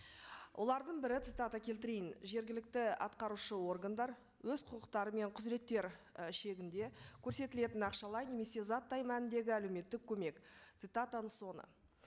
олардың бірі цитата келтірейін жергілікті атқарушы органдар өз құқықтары мен құзыреттері і шегінде көрсетілетін ақшалай немесе заттай мәніндегі әлеуметтік көмек цитатаның соңы